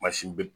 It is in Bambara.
Mansin bɛ